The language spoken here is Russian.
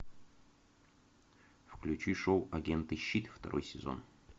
включи шоу агенты щит второй сезон